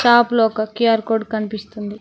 Shop లో ఒక Q R code కన్పిస్తుంది.